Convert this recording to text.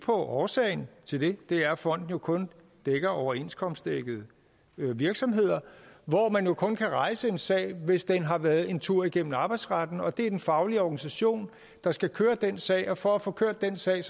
årsagen til det det er at fonden jo kun dækker overenskomstdækkede virksomheder hvor man kun kan rejse en sag hvis den har været en tur igennem arbejdsretten og det er den faglige organisation der skal køre den sag og for at få kørt den sag